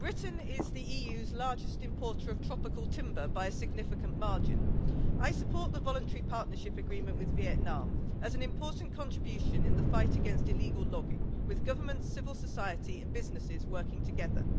Madam President, Britain is the EU's largest importer of tropical timber by a significant margin. I support the voluntary partnership agreement with Vietnam as an important contribution in the fight against illegal logging, with governments, civil society and businesses working together.